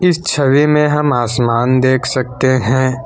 इस छवि में हम आसमान देख सकते हैं।